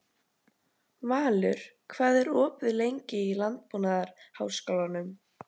Valur, hvað er opið lengi í Landbúnaðarháskólanum?